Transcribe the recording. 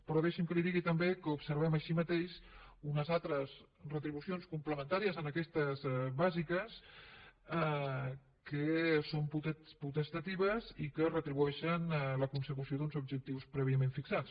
però deixi’m que li digui també que observem així mateix unes altres retribucions complementàries a aquestes bàsiques que són potestatives i que retribueixen la consecució d’uns objectius prèviament fixats